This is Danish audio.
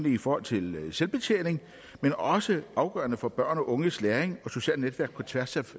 i forhold til selvbetjening men også afgørende for børn og unges læring og socialt netværk på tværs af